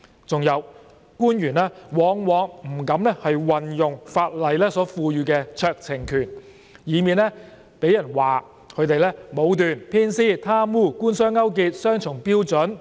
還有官員往往不敢運用法例所賦予的酌情權，以免被人批評他們武斷、偏私、貪污、官商勾結、雙重標準。